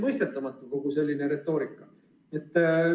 Mulle on selline retoorika täiesti mõistetamatu.